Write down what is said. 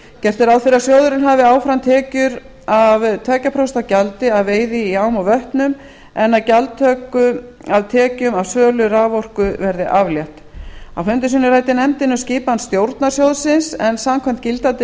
gert er ráð fyrir að sjóðurinn hafi áfram tekjur af tveimur prósentum gjaldi af veiði í ám og vötnum en að gjaldtöku af tekjum af sölu raforku verði aflétt á fundum sínum ræddi nefndin um skipun stjórnar sjóðsins en samkvæmt gildandi